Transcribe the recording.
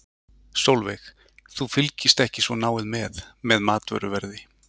Sólveig: Þú fylgist ekki svo náið með, með matvöruverði?